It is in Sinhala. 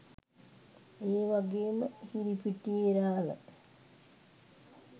ඒ වගේම හිරිපිටියේ රාළ